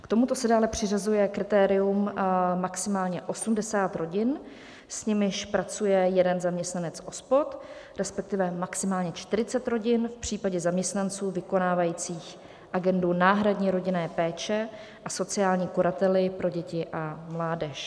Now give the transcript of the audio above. K tomuto se dále přiřazuje kritérium maximálně 80 rodin, s nimiž pracuje jeden zaměstnanec OSPOD, respektive maximálně 40 rodin v případě zaměstnanců vykonávajících agendu náhradní rodinné péče a sociální kurately pro děti a mládež.